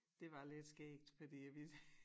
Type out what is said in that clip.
Det var lidt skægt fordi at vi